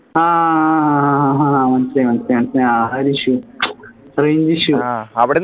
ആഹ് ആഹ് മനസ്സിലായി മനസ്സിലായി മനസ്സിലായി ആ ഒരു issue range issue